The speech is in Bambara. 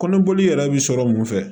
Kɔnɔboli yɛrɛ bi sɔrɔ mun fɛ